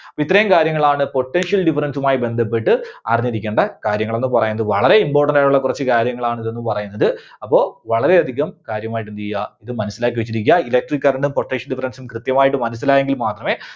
ഇത്രയും കാര്യങ്ങളാണ് potential difference ഉം ആയി ബന്ധപ്പെട്ട് അറിഞ്ഞിരിക്കേണ്ട കാര്യങ്ങള് എന്ന് പറയുന്നത്. വളരെ important ആയിട്ടുള്ള കുറച്ച് കാര്യങ്ങളാണ് ഇതെന്ന് പറയുന്നത്. അപ്പോ വളരെ അധികം കാര്യമായിട്ട് എന്ത് ചെയ്യുക ഇത് മനസ്സിലാക്കി വെച്ചിരിക്കുക Electric current ഉം potential difference ഉം കൃത്യമായിട്ട് മനസ്സിലായെങ്കിൽ മാത്രമേ